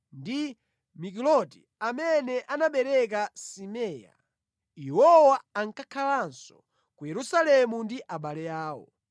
ndi Mikiloti, amene anabereka Simea. Iwowa ankakhalanso ku Yerusalemu ndi abale awo.